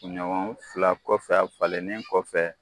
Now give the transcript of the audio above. kunɲɔgɔn fila kɔfɛ a falennen kɔfɛ